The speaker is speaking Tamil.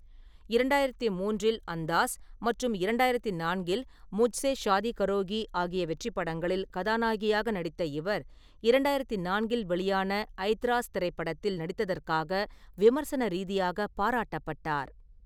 இரண்டாயிரத்தி மூன்றில் அந்தாஸ் மற்றும் இரண்டாயிரத்தி நான்கில் முஜ்ஸே ஷாதி கரோகி ஆகிய வெற்றிப் படங்களில் கதாநாயகியாக நடித்த இவர், இரண்டாயிரத்தி நான்கில் வெளியான ஐத்ராஸ் திரைப்படத்தில் நடித்ததற்காக விமர்சன ரீதியாக பாராட்டப்பட்டார்.